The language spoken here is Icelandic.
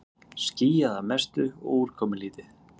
Skýjað að mestu og úrkomulítið